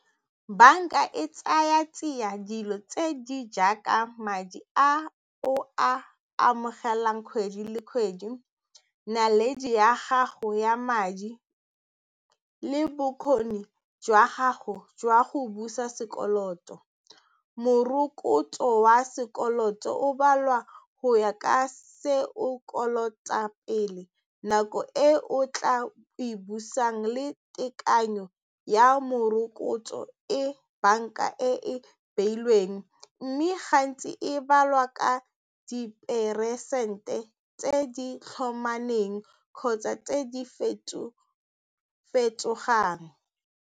Banka e tsaya tsia dilo tse di jaaka madi a o a amogelang kgwedi le kgwedi, naledi ya gago ya madi le bokgoni jwa gago jwa go busa sekoloto, morokotso wa sekoloto o balwa go ya ka se o kolota pele nako e o tla e busang le tekanyo ya morokotso e banka e e beilweng mme gantsi e balwa ka diperesente tse di tlhomameng kgotsa tse di fetofetogang.